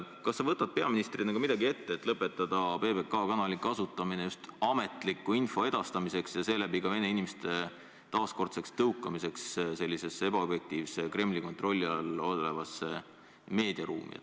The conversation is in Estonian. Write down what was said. Kas sa võtad peaministrina midagi ette, et lõpetada PBK kasutamine just ametliku info edastamiseks ja seeläbi vene inimeste taaskordseks tõukamiseks ebaobjektiivsesse Kremli kontrolli all olevasse meediaruumi?